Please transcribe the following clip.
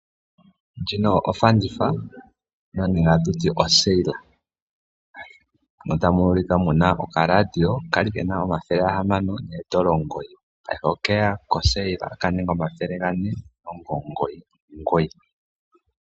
Ndjino ofanditha moka tamu ulikwa mu na okaradio ka li ke na oodola dhaNamibia omathele gahamano noodola omugoyi, ihe ngaashingeyi oke li kofanditha ka ninga oodola dhaNamibia omathele gane noodola omugoyi nomugoyi.